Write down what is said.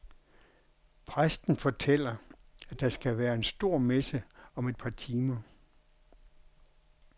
Præsten fortæller, at der skal være en stor messe om et par timer.